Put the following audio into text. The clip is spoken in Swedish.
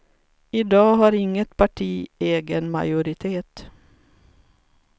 I dag har inget parti egen majoritet.